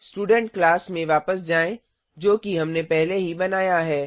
student class में वापस जाएँ जो कि हमने पहले ही बनाया है